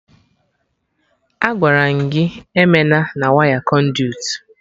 Agwaram gị eme na waya Kọnduit